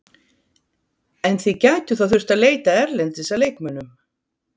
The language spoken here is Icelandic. En þið gætuð þá þurft að leita erlendis að leikmönnum?